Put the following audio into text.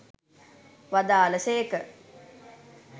වදාළ සේක.